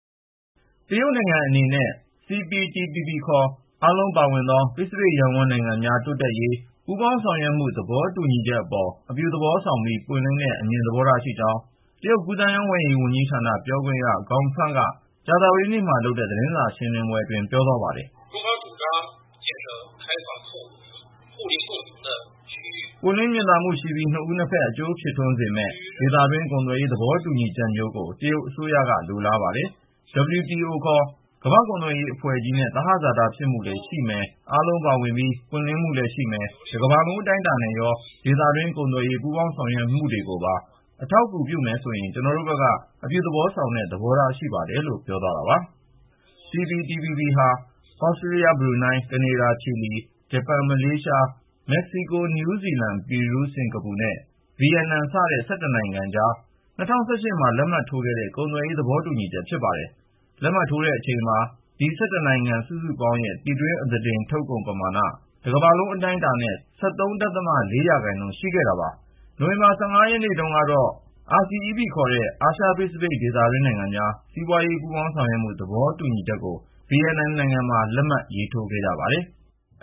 တရုတ်နိုင်ငံအနေနဲ့ Comprehensive and Progressive Agreement for Trans-Pacific Partnership (CPTPP) – ပစိဖိတ်ရပ်ဝန်းနိုင်ငံများတိုးတက်ရေး ပူးပေါင်းဆောင်ရွက်မှု သဘောတူညီချက်အပေါ် အပြုသဘောဆောင်ပြီး ပွင့်လင်းတဲ့ အမြင် သဘောထား ရှိကြောင်း တရုတ်ကူးသန်းရောင်းဝယ်ရေး ဝန်ကြီးဌာန ပြောခွင့်ရ Gao Feng က ကြာသပတေးနေ့မှာ ပြုလုပ်တဲ့ သတင်းစာရှင်းလင်းပွဲအတွင်း ပြောကြားလိုက်ပါတယ်။ “ပွင့်လင်း မြင်သာမှုရှိပြီး နှစ်ဦး နှစ်ဘက် အကျိုးဖြစ်ထွန်းစေမယ့် ဒေသတွင်း ကုန်သွယ်ရေး သဘောတူညီချက်မျိုးကို တရုတ်အစိုးရက လိုလားပါတယ်။ WTO - ကမ္ဘာ့ကုန်သွယ်ရေးအဖွဲ့ကြီးနဲ့ သဟဇာတမျှတမှုလည်းရှိမယ်၊ အားလုံးပါဝင်ပြီး ပွင့်လင်းမှုလည်းရှိမယ်၊ တကမ္ဘာလုံးအတိုင်းအတာနဲ့ရော ဒေသတွင်း ကုန်သွယ်ရေး ပူးပေါင်းဆောင်ရွက်မှုတွေကိုပါ အထောက်အကူပြုမယ်ဆိုရင် ကျနော်တို့ဘက်က အပြုသဘောဆောင်တဲ့ သဘောထားရှိပါတယ်” လို့ ပြောသွားတာပါ။ CPTPP ဟာ သြစတေးလျ၊ ဘရူနိုင်း၊ ကနေဒါ၊ ချီလီ၊ ဂျပန်၊ မလေးရှား၊ မက္ကဆီကို၊ နယူးဇီလန်၊ ပီရူး၊ စင်္ကာပူနဲ့ ဗီယက်နမ် စတဲ့ (၁၁) နိုင်ငံအကြား ၂၀၁၈ ခုနှစ်မှာ လက်မှတ်ရေးခဲ့တဲ့ ကုန်သွယ်ရေး သဘောတူညီချက် ဖြစ်ပါတယ်။ လက်မှတ်ရေးထိုးတဲ့အချိန်မှာ ဒီ (၁၁) နိုင်ငံ စုစုပေါင်းရဲ့ ပြည်တွင်းအသားတင် ကုန်ထုတ်လုပ်မှုပမာဏဟာ တကမ္ဘာလုံးအတိုင်းအတာနဲ့ ၁၃.၄ ရာခိုင်နှုန်း ရှိခဲ့တာပါ။ နိုဝင်ဘာ ၁၅ ရက်နေ့တုန်းကတော့ Regional Comprehensive Economic Partnership (RCEP) လို့ခေါ်တဲ့ အာရှ-ပစိဖိတ် ဒေသတွင်းနိုင်ငံများ စီးပွားရေး ပူးပေါင်းဆောင်ရွက်မှု သဘောတူညီချက်ကို ဗီယက်နမ်နိုင်ငံမှာ လက်မှတ်ရေးခဲ့ကြပါတယ်။